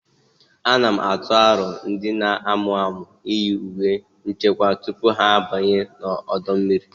A na-atụ aro ndị na-amụ amụ iyi uwe nchekwa tupu ha abanye n'ọdọ mmiri